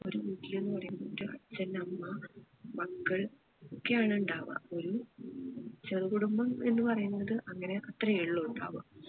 ഒരു വീട്ടില് എന്ന് പറയുന്നത് ഒരച്ഛൻ അമ്മ മക്കൾ ഒക്കെ ആണ് ഉണ്ടാവുക ഒരു ചെറുകുടുംബം എന്ന് പറയുന്നത് അങ്ങനെ അത്രേ ഉള്ളു ഇണ്ടാവുആ